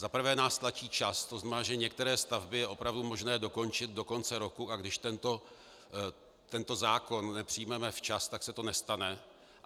Za prvé nás tlačí čas, to znamená, že některé stavby je opravdu možné dokončit do konce roku, a když tento zákon nepřijmeme včas, tak se to nestane.